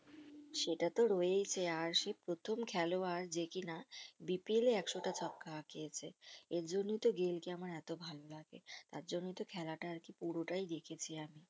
সেটাতো হয়েছে আর সে প্রথম খেলোয়াড় যে কিনা BPL এ একশোটা ছক্কা হাকিয়েছে। আর জন্যই তো গেইল কে আমার এতো ভালো লাগে। তার জন্যই তো খেলাটা আরকি পুরোটাই দেখেছি আমি